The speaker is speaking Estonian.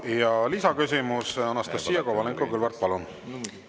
Ja lisaküsimus, Anastassia Kovalenko-Kõlvart, palun!